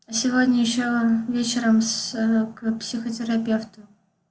сегодня ещё вечером с к психотерапевту